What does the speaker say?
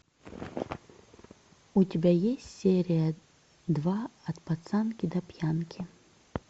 у тебя есть серия два от пацанки до пьянки